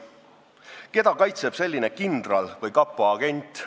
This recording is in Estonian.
Keda kaitseb selline kindral või kapo agent?